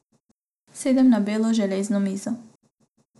Sedem na belo železno mizo.